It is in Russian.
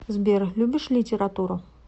сбер любишь литературу